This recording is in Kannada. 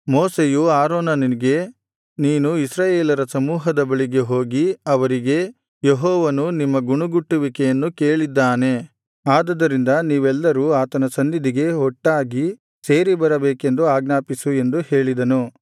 ಮೋಶೆಯು ಆರೋನನಿಗೆ ನೀನು ಇಸ್ರಾಯೇಲರ ಸಮೂಹದ ಬಳಿಗೆ ಹೋಗಿ ಅವರಿಗೆ ಯೆಹೋವನು ನಿಮ್ಮ ಗುಣುಗುಟ್ಟುವಿಕೆಯನ್ನು ಕೇಳಿದ್ದಾನೆ ಆದುದರಿಂದ ನೀವೆಲ್ಲರೂ ಆತನ ಸನ್ನಿಧಿಗೆ ಒಟ್ಟಾಗಿ ಸೇರಿ ಬರಬೇಕೆಂದು ಆಜ್ಞಾಪಿಸು ಎಂದು ಹೇಳಿದನು